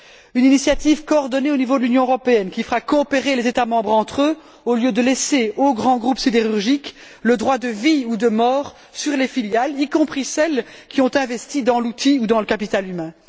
Une initiative coordonnée au niveau de l'Union européenne qui fera coopérer les États membres entre eux au lieu de laisser aux grands groupes sidérurgiques le droit de vie ou de mort sur les filiales, y compris celles qui ont investi dans l'outil ou dans le capital humain.